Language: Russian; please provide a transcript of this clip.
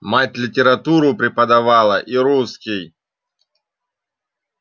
мать литературу преподавала и русский